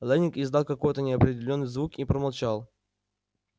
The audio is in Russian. лэннинг издал какой-то неопределённый звук и промолчал